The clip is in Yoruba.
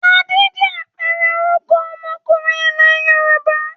Adé jẹ́ àpẹẹrẹ orúkọ ọmọkùnrin ilẹ̀ Yorùbá.